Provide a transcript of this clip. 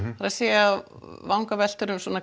að segja vangaveltur um